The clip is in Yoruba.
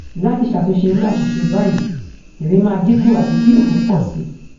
lati satunse iru asise bayii ere maa dinku abi ki ofo po si